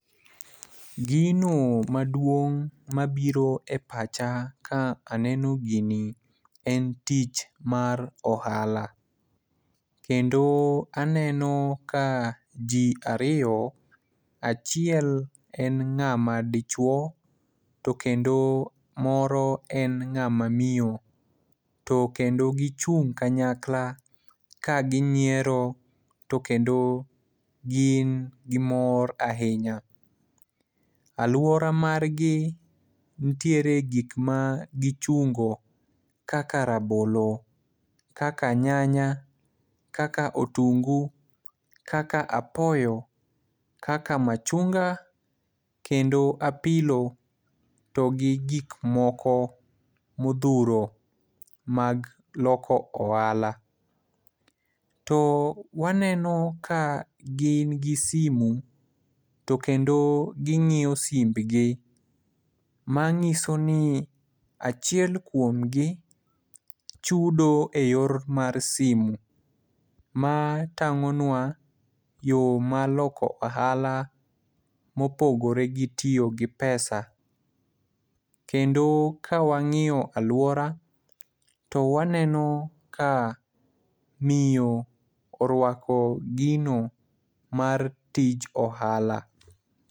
Gino maduong' mabiro e pacha ka aneno gini en tich mar ohala, kendo aneno ka ji ariyo ,achiel en ng'ama dichuwo, to kendo moro en ng'ama miyo to kendo gichung' kanyakla ka ginyiero to kendo gin gi mor ahinya. Alwora margi nitiere gik ma gichungo kaka rabolo, kaka nyanya, kaka otungu, kaka apoyo ,kaka machunga kendo apilo, to gi gik moko modhuro mag loko ohala. To waneno ka gin gi simu to kendo ging'iyo simbgi, manyiso ni achiel kuomgi chudo e yor mar simu, ma tang'onwa yo mar loko ohala mopogore gi tiyo gi pesa. Kendo ka wang'iyo alwora, to waneno ka miyo orwako gino mar tich ohala.